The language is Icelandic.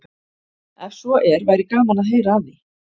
Ef svo er væri gaman að heyra af því.